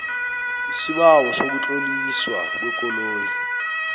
isibawo sokutloliswa kwekoloyi